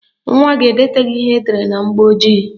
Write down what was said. Nwa gị edetaghị ihe edere na mgbọojii